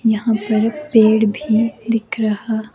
यहां पर पेड़ भी दिख रहा--